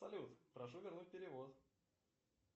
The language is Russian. салют прошу вернуть перевод